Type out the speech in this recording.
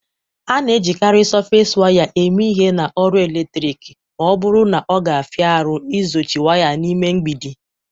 A na-ejikarị Sọfes waya eme ihe na ọrụ eletrik ma ọ bụrụ na ọ ga-afia arụ ịzochi waya n'ime mgbidi.